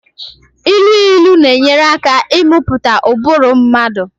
Ilu ilu na-enyere aka ịmụpụta ụbụrụ mmadụ